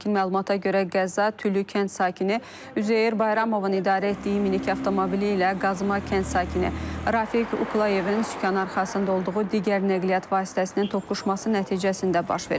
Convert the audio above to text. İlkin məlumata görə qəza Tülü kənd sakini Üzeyir Bayramovun idarə etdiyi minik avtomobili ilə Qazma kənd sakini Rafiq Uqlayevin sükan arxasında olduğu digər nəqliyyat vasitəsinin toqquşması nəticəsində baş verib.